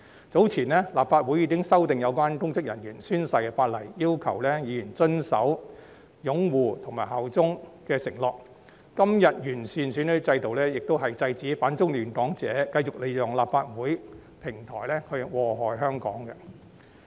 早前，立法會已經修訂有關公職人員宣誓的法例，要求議員遵守擁護及效忠的承諾；今天完善選舉制度，亦是制止反中亂港者繼續利用立法會的平台禍害香港。